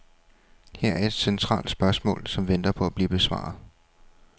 Her er et centralt spørgsmål, som venter på at blive besvaret.